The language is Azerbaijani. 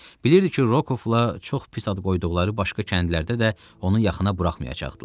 Bilirdi ki, Rokovla çox pis ad qoyduqları başqa kəndlərdə də onu yaxına buraxmayacaqdılar.